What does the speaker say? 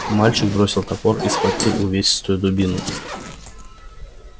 мальчик бросил топор и схватил увесистую дубину